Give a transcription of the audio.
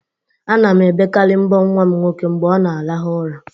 Ana m ebekarị mbọ nwa m nwoke mgbe ọ na-arahụ ura